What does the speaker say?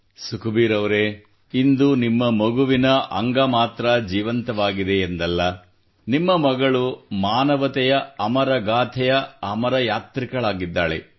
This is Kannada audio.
ಸುಖಬೀರ್ ಅವರೇ ಇಂದು ನಿಮ್ಮ ಮಗುವಿನ ಅಂಗ ಮಾತ್ರ ಜೀವಂತವಾಗಿದೆ ಎಂದಲ್ಲ ನಿಮ್ಮ ಮಗಳು ಮಾನವತೆಯ ಅಮರಗಾಥೆಯ ಅಮರ ಯಾತ್ರಿಕಳಾಗಿದ್ದಾಳೆ